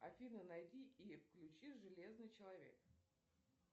афина найди и включи железный человек